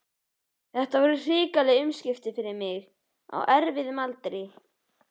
Þetta voru hrikaleg umskipti fyrir mig á erfiðum aldri.